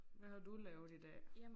Hvad har du lavet i dag?